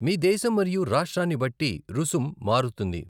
మీ దేశం మరియు రాష్ట్రాన్ని బట్టి రుసుం మారుతుంది.